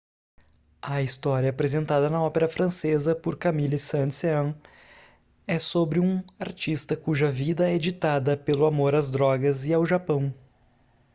a história apresentada na ópera francesa por camille saint-saëns é sobre um artista cuja vida é ditada pelo amor às drogas e ao japão.